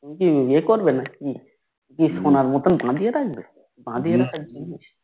two ই কি বিয়ে করবে নাকি কি শোনার মতন বাদিয়ে থাকবে বাদিয়ে না থাকবে